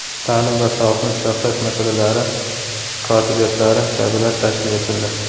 ta’lim va sog‘liqni saqlash masalalari kotibiyatlari kabilar tashkil etildi.